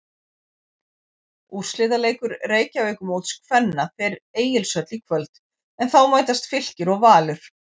Úrslitaleikur Reykjavíkurmóts kvenna fer Egilshöll í kvöld en þá mætast Fylkir og Valur.